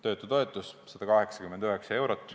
Töötutoetus on 189 eurot.